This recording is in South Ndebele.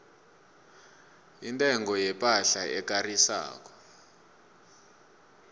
intengo yepahla ekarisako